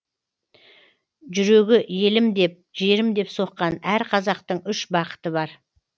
жүрегі елім деп жерім деп соққан әр қазақтың үш бақыты бар